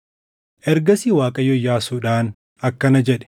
Ergasii Waaqayyo Iyyaasuudhaan akkana jedhe: